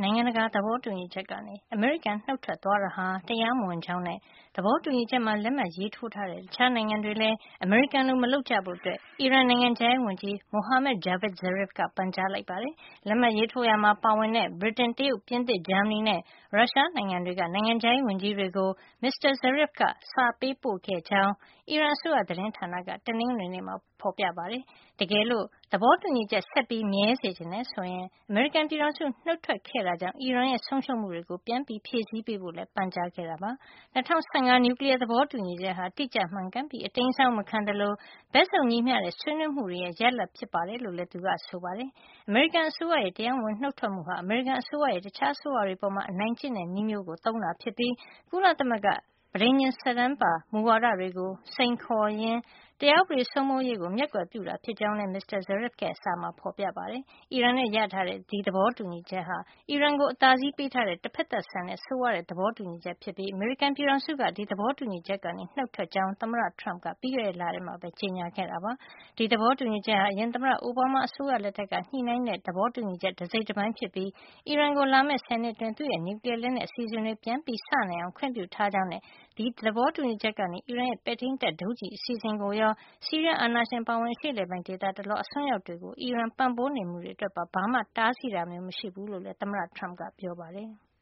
နိုင်ငံတကာ သဘောတူညီချက်ကနေ အမေရိကန်နုတ်ထွက်သွားတာဟာ တရားမဝင်ကြောင်းနဲ့ သဘောတူ ညီချက်မှာ လက်မှတ်ရေးထိုးထားတဲ့ တခြားနိုင်ငံတွေလည်း အမေရိကန်လို မလုပ်ကြဖို့ အီရန်နိုင်ငံခြားရေးဝန်ကြီး Mohammad Javad Zarif က ပန်ကြားလိုက်ပါတယ်။ လက်မှတ်ရေးထိုးရာမှာ ပါဝင်တဲ့ ဗြိတိန်၊ တရုတ်၊ ပြင်သစ်၊ ဂျာမဏီနဲ့ ရုရှားနိုင်ငံတွေက နိုင်ငံခြားရေးဝန်ကြီးတွေကို မစ္စတာ Zarif က စာပေးပို့ခဲ့ကြောင်း အီရန်အစိုးရ သတင်းဌာနက တနင်္ဂနွေနေ့မှာ ဖေါ်ပြပါတယ်။ တကယ်လို့ သဘောတူညီချက် ဆက်ပြီးမြဲစေချင်တယ် ဆိုရင် အမေရိကန်ပြည်ထောင်စု နုတ်ထွက်ခဲ့တာကြောင့် အီရန်ရဲ့ဆုံးရှုံးမှုတွေကို ပြန်ဖြည့်ပေးဖို့လည်း ပန်ကြားခဲ့တာပါ။ ၂၀၁၅ နျူကလီယား သဘောတူညီချက်ဟာ တိကျမှန်ကန်ပြီး အတိမ်းအစောင်းမခံသလို ဘက်စုံညီမျှတဲ့ ဆွေးနွေးမှုတွေရဲ့ ရလဒ် ဖြစ်တယ် လို့လည်း သူကဆိုပါတယ်။ အမေရိကန် အစိုးရရဲ့ တရားမဝင်နုတ်ထွက်မှုဟာ အမေရိကန်အစိုးရရဲ့ တခြားအစိုးရတွေအပေါ် အနိုင်ကျင့်တဲ့ နည်းမျိုး သုံးတာဖြစ်ပြီး ကုလသမဂ္ဂ ပဋိဉာဉ် စာတန်းပါ မူဝါဒတွေကိုစိန်ခေါ်ရင် တရားဥပဒေစိုးမိုးရေး ကိုမျက်ကွယ်ပြု တာဖြစ်ကြောင်း လည်း မစ္စတာ Zarif ရဲ့ စာမှာ ဖေါ်ပြထားပါတယ်။ အီရန်နဲ့ ရထားတဲ့ ဒီသဘောတူညီချက်ဟာ အီရန်ကို အသာစီးပေးထားတဲ့ တဖက်သတ်ဆန်တဲ့ ဆိုးဝါးတဲ့ သဘောတူညီချက်ဖြစ်ပြီး အမေရိကန်ပြည်ထောင်စုက ဒီသဘောတူညီချက်ကနေ နုတ်ထွက်ကြောင်း သမ္မတ Donald Trump က ပြီးခဲ့တဲ့ လထဲမှာပဲ ကြေညာခဲ့တာပါ။ ဒီသဘောတူညီချက်ဟာ အရင်သမ္မတ အိုဘားမား အစိုးရ လက်ထက်က ညှိနှိုင်းသဘောတူညီချက် တစိတ်တပိုင်းဖြစ်ပြီး အီရန်ကို လာမယ့် ဆယ်နှစ်အတွင်း သူ့ရဲ့ နျူကလီယား လက်နက်အစီအစဉ်တွေ ပြန်စနိုင်အောင် ခွင့်ပြုထားကြောင်းနဲ့ ဒီသဘောတူညီချက်ကနေ အီရန်ရဲ့ ပဲ့ထိမ်းတပ် ဒုံးကျည်အစီအစဉ် ကိုရော ဆီးရီးယားအာဏာရှင်အပါအဝင် အရှေ့အလယ်ပိုင်း ဒေသတလွှား အစွန်းရောက်တွေကို အီရန် ပံ့ပိုး နေမှုတွေ အတွက်ပါ ဘာမှ တားဆီးတာမျိုးမရှိဘူး လို့လည်း သမ္မတ Trump ကပြောပါတယ်။